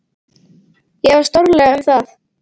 Ég efast stórlega um það.